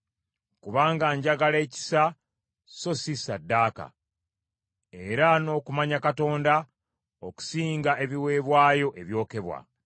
Kubanga njagala ekisa so si ssaddaaka, era n’okumanya Katonda, okusinga ebiweebwayo ebyokebwa.